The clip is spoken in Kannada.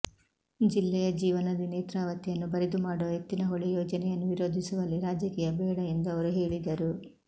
ಜಿಲ್ಲೆಯ ಜೀವನದಿ ನೇತ್ರಾವತಿಯನ್ನು ಬರಿದು ಮಾಡುವ ಎತ್ತಿನಹೊಳೆ ಯೋಜನೆಯನ್ನು ವಿರೋಧಿಸುವಲ್ಲಿ ರಾಜಕೀಯ ಬೇಡ ಎಂದು ಅವರು ಹೇಳಿದರು